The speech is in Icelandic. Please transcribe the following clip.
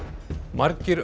margir